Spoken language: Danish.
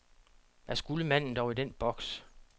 Hvad skulle manden dog i den boks?